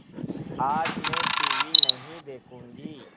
आज मैं टीवी नहीं देखूँगी